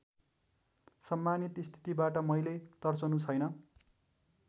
सम्मानित स्थितिबाट मैले तर्सनु छैन्